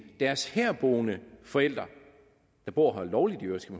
deres herboende forældre der bor her lovligt i øvrigt skal